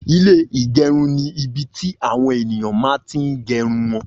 Ilé igerun ni ibi ti àwọn ènìyàn mà n ti gerun wọn